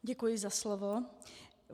Děkuji za slovo.